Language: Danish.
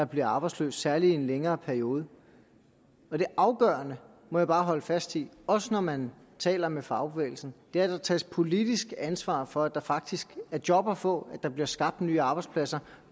bliver arbejdsløs særlig i en længere periode det afgørende må jeg bare holde fast i også når man taler med fagbevægelsen er at der tages politisk ansvar for at der faktisk er job at få at der bliver skabt nye arbejdspladser